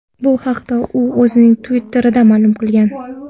Bu haqda u o‘zining Twitter’ida ma’lum qilgan .